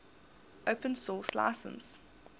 open source license